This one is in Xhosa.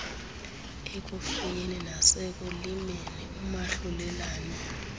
ekufuyeni nasekulimeni umahlulelane